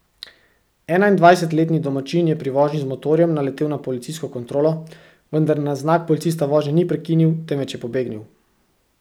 Enaindvajsetletni domačin je pri vožnji z motorjem naletel na policijsko kontrolo, vendar na znak policista vožnje ni prekinil, temveč je pobegnil.